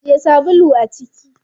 Ajiye sabulun a ciki.